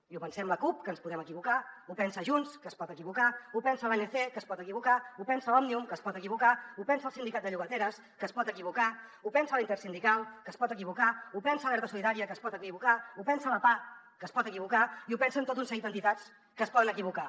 i ho pensem la cup que ens podem equivocar ho pensa junts que es pot equivocar ho pensa l’anc que es pot equivocar ho pensa òmnium que es pot equivocar ho pensa el sindicat de llogateres que es pot equivocar ho pensa la intersindical que es pot equivocar ho pensa alerta solidària que es pot equivocar ho pensa la pah que es pot equivocar i ho pensen tot un seguit d’entitats que es poden equivocar